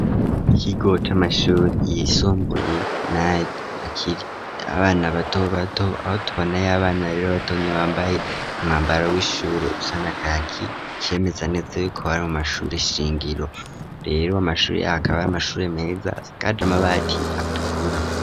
ikigo c'amashure yisumbuye yakira abana bato bato aho tubonayo abana rero batonye bambaye umwambaro w'ishuri usana kaki cemeza neza yo kubari mu mashure shingiro rero amashuri ahakabaari amashuri meza asakaje amabati atukura.